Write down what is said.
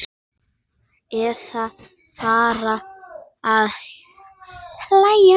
Eða fara að hlæja.